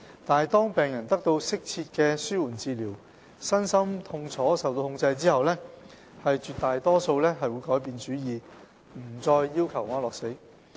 但是，當病人得到適切的紓緩治療，身心痛楚受到控制後，絕大多數會改變主意，不再要求安樂死。